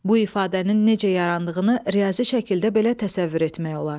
Bu ifadənin necə yarandığını riyazi şəkildə belə təsəvvür etmək olar.